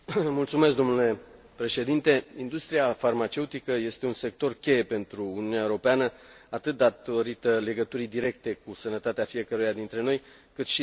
Industria farmaceutică este un sector cheie pentru Uniunea Europeană atât datorită legăturii directe cu sănătatea fiecăruia dintre noi cât și datorită potențialului economic.